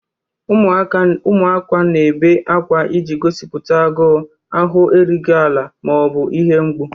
Ụmụaka na-ebe akwa iji gosipụta agụụ, ahụ erughị ala, ma ọ bụ ihe mgbu.